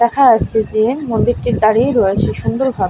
দেখা যাচ্ছে যে মন্দির টি দাঁড়িয়ে রয়েছে সুন্দর ভাব-- .